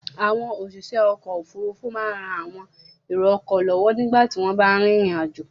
Àwọn òṣìṣẹ́ ọkọ̀-òfurufú máa ń ran àwọn èrò-ọkọ̀ lọ́wọ́ nígbà tí wọ́n bá rìnrìn-àjò.